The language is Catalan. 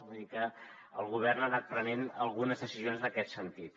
vull dir que el govern ha anat prenent algunes decisions en aquest sentit